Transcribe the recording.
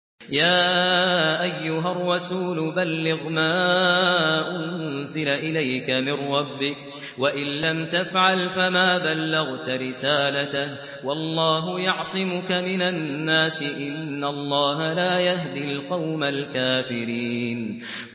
۞ يَا أَيُّهَا الرَّسُولُ بَلِّغْ مَا أُنزِلَ إِلَيْكَ مِن رَّبِّكَ ۖ وَإِن لَّمْ تَفْعَلْ فَمَا بَلَّغْتَ رِسَالَتَهُ ۚ وَاللَّهُ يَعْصِمُكَ مِنَ النَّاسِ ۗ إِنَّ اللَّهَ لَا يَهْدِي الْقَوْمَ الْكَافِرِينَ